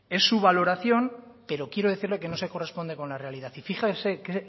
es su valoración pero quiero decirle que no se corresponde con la realidad y fíjese qué